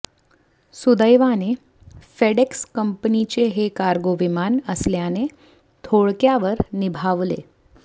सुदैवाने फेडएक्स कंपनीचे हे कार्गो विमान असल्याने थोडक्यावर निभावले